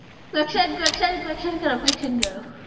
question question question কারো question কারো